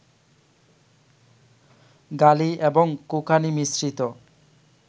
গালি এবং কোঁকানি মিশ্রিত